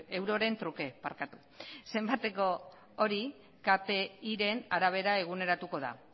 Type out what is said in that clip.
euroren truke zenbateko hori kpiaren arabera eguneratuko da